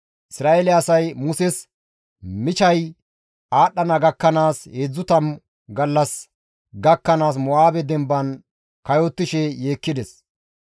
Isra7eele asay Muses michay aadhdhana gakkanaas heedzdzu tammu gallas gakkanaas Mo7aabe demban kayottishe yeekkides.